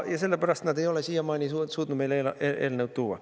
Ja sellepärast nad ei ole siiamaani suutnud meile eelnõu tuua.